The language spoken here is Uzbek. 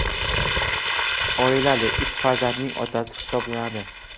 Oilali, uch farzandning otasi hisoblanadi.